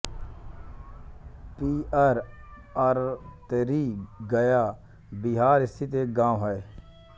पिअर अतरी गया बिहार स्थित एक गाँव है